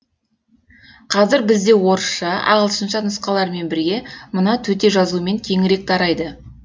қазір бізде орысша ағылшынша нұсқалармен бірге мына төте жазумен кеңірек тарайды